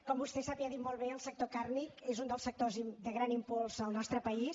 com vostè sap i ho ha dit molt bé el sector carni és un dels sectors de gran impuls al nostre país